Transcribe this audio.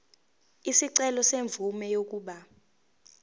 isicelo semvume yokuba